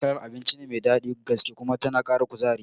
Taliya wani kalar abinci ce mai daɗin gaske kuma tana Kara kuzari